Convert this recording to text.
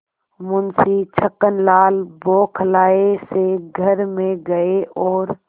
मुंशी छक्कनलाल बौखलाये से घर में गये और